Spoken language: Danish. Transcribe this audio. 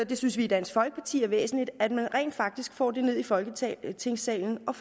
vi synes i dansk folkeparti er væsentligt at man rent faktisk får det ned i folketingssalen og